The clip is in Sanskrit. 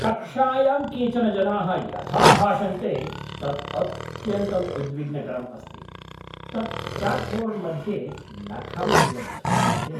कक्षायां केचन जनाः यथा भाषन्ते तत् अत्यन्तं उद्विग्नकरम् अस्ति, तत् चाक्बोर्ड् मध्ये नखम् इव ध्वन्यते।